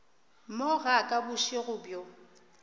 mo ga ka bošego bjo